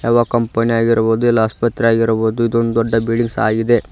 ಹಾಗು ಕಂಪನಿ ಆಗಿರ್ಬೊದು ಇಲ್ಲ ಆಸ್ಪತ್ರೆ ಆಗಿರ್ಬೋದು ಇದೊಂದು ದೊಡ್ಡ ಬಿಲ್ಡಿಂಗ್ಸ್ ಆಗಿದೆ.